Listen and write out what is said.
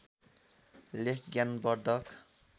लेख ज्ञान वर्धक